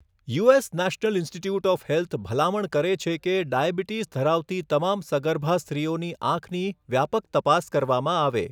US National Institute of Health ભલામણ કરે છે કે ડાયાબિટીસ ધરાવતી તમામ સગર્ભા સ્ત્રીઓની આંખની વ્યાપક તપાસ કરવામાં આવે.